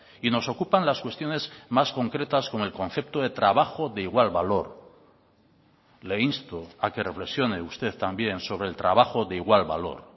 y nos ocupan las cuestiones más concretas con el concepto de trabajo de igual valor le insto a que reflexione usted también sobre el trabajo de igual valor